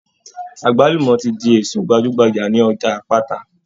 Àgbálùmọ́ ti di èso gbajúgbajà ní ọjà Àpáta.